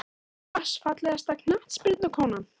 pass Fallegasta knattspyrnukonan?